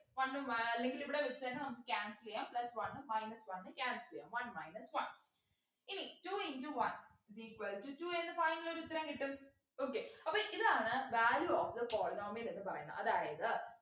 one ഉം ഏർ അല്ലെങ്കിൽ ഇവിടെ വച്ച് തന്നെ നമുക്ക് cancel ചെയ്യാം plus one minus one cancel ചെയ്യാം one minus one ഇനി two into one is equal to two എന്ന് final ഒരുത്തരം കിട്ടും okay അപ്പൊ ഇതാണ് value of the polynomial എന്ന് പറയുന്നെ അതായത്